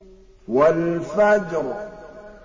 وَالْفَجْرِ